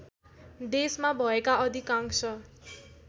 देशमा भएका अधिकांश